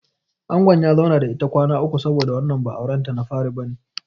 Angon ya zauna da ita kwana uku saboda wannan ba auren ta na fari bane.